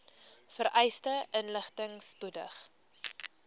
vereiste inligting spoedig